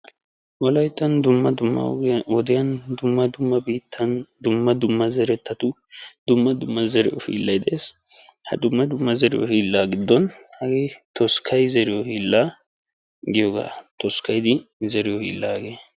Wolaytta wodiyan dumma dumma wodiyan daro qommo zeriyo hiillay de'ees. hegeetuppe hagee toskkayiddi zeriyo hiilla.